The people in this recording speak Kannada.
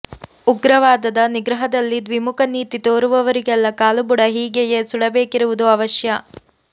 ಉಗ್ರವಾದದ ನಿಗ್ರಹದಲ್ಲಿ ದ್ವಿಮುಖ ನೀತಿ ತೋರುವವರಿಗೆಲ್ಲ ಕಾಲುಬುಡ ಹೀಗೆಯೇ ಸುಡಬೇಕಿರುವುದು ಅವಶ್ಯ